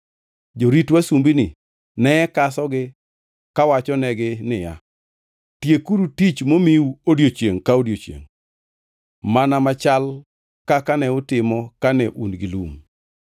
Jorit wasumbini ne kasogi kawachonegi niya, “Tiekuru tich momiu odiechiengʼ ka odiechiengʼ, mana machal kaka ne utimo kane un gi lum.”